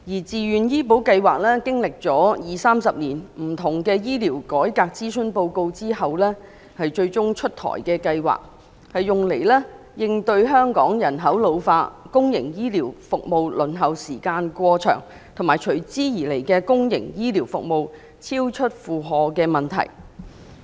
自願醫保計劃歷經二三十年醫療改革諮詢後終於出台，用以應對香港人口老化、公營醫療服務輪候時間過長，以及由此產生的公營醫療服務超出負荷的問題。